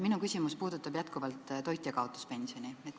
Minu küsimus puudutab jätkuvalt toitjakaotuspensioni.